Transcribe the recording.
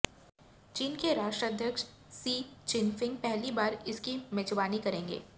चीन के राष्ट्राध्यक्ष शी चिनफिंग पहली बार इसकी मेज़बानी करेंगे